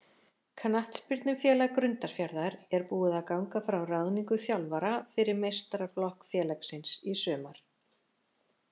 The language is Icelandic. Knattspyrnufélag Grundarfjarðar er búið að ganga frá ráðningu þjálfara fyrir meistaraflokk félagsins í sumar.